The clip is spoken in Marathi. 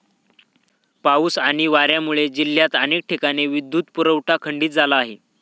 पाऊस आणि वाऱ्यामुळे जिल्ह्यात अनेक ठिकाणी विद्युत पुरवठा खंडित झाला आहे.